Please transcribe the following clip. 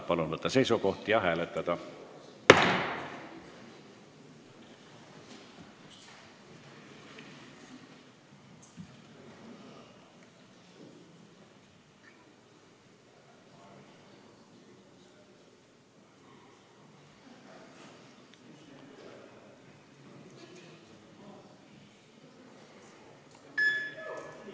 Palun võtta seisukoht ja hääletada!